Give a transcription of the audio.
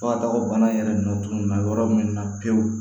Fo ka taa fɔ bana in yɛrɛ nɔ tun bɛ yɔrɔ min na pewu